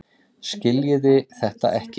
Skiljiði þetta ekki?